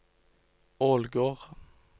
Ålgård